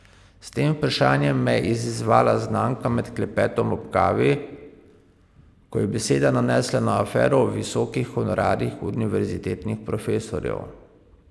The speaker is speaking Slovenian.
S tem vprašanjem me je izzvala znanka med klepetom ob kavi, ko je beseda nanesla na afero o visokih honorarjih univerzitetnih profesorjev.